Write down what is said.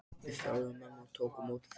Við þjálfum menn og tökum á móti þeim!